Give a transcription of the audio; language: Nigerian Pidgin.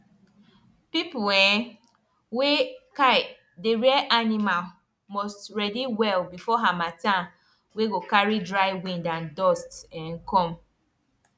people um wey um dey rear animal must ready well before harmattan wey go carry dry wind and dust um come